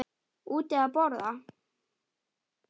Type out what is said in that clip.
Úti að borða.